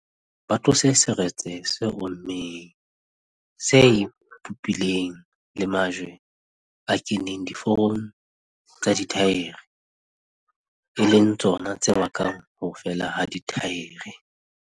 Ba tlose seretse se ommeng, se ipopileng le majwe a keneng diforong tsa dithaere, e leng tsona tse bakang ho fela ha dithaere.